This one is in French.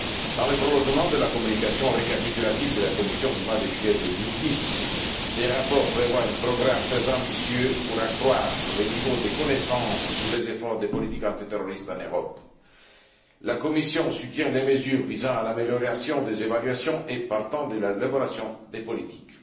Dans le prolongement de la communication récapitulative de la Commission du mois de juillet 2010, des rapports prévoient un programme très ambitieux pour accroître le niveau des connaissances sur les efforts des politiques antiterroristes en Europe. La Commission soutient les mesures visant à l'amélioration des évaluations et, partant, de l'élaboration des politiques.